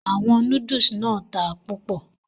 Àwọn Núdúùsù náà ta púpò